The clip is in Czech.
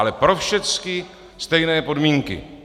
Ale pro všechny stejné podmínky.